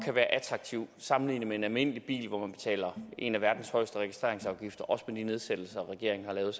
kan være attraktiv sammenlignet med en almindelig bil hvor man betaler en af verdens højeste registreringsafgifter også med de nedsættelser regeringen har lavet